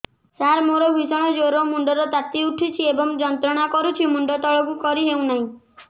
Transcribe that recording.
ସାର ମୋର ଭୀଷଣ ଜ୍ଵର ମୁଣ୍ଡ ର ତାତି ଉଠୁଛି ଏବଂ ଯନ୍ତ୍ରଣା କରୁଛି ମୁଣ୍ଡ ତଳକୁ କରି ହେଉନାହିଁ